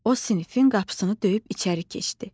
O sinifin qapısını döyüb içəri keçdi.